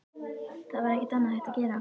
Það var ekkert annað hægt að gera.